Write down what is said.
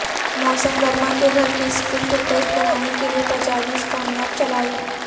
موسم گرما کے گھر کے اسکول کے ٹیسٹ بنانے کے لئے تجاویز کامیاب چلائیں